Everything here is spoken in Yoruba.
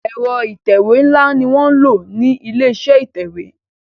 Ẹ̀rọ ìtẹ̀wé nla ní wọ nlọ ní ilé-iṣẹ́ ìtẹ̀wé.